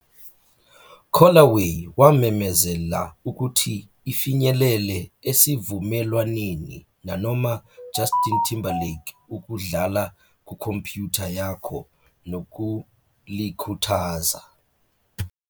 "Callaway wamemezela ukuthi ifinyelele esivumelwaneni nanoma Justin Timberlake ukudlala kukhompyutha yakho nokulikhuthaza."